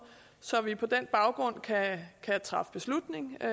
så vi på den baggrund kan træffe beslutning jo